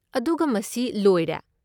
ꯑꯗꯨꯒ ꯃꯁꯤ ꯂꯣꯏꯔꯦ?